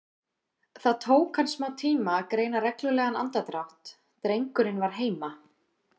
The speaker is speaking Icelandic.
Það tók hann smátíma að greina reglulegan andardrátt, drengurinn var heima.